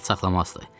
kin saxlamazdı.